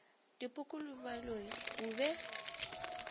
dipoko le baloi o be